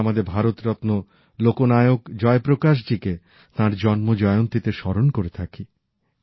সেদিন আমাদের ভারতরত্ন লোকনায়ক জয়প্রকাশজীকে তাঁর জন্ম জয়ন্তীতে স্মরণ করে থাকি